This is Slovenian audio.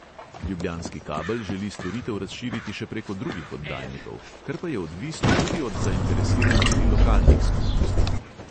Ljubljanski kabel želi storitev razširiti še preko drugih oddajnikov, kar pa je odvisno tudi od zainteresiranosti lokalnih skupnosti.